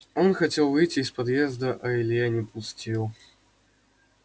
он хотел выйти из подъезда а илья не пустил